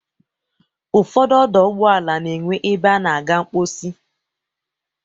Ụfọdụ ọdọ ụgbọala na-enwe ebe a na-aga mkposi.